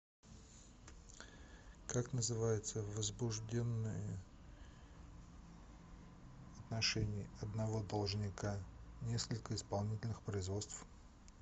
как называется возбужденные в отношении одного должника несколько исполнительных производств